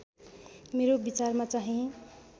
मेरो विचारमा चाहिँ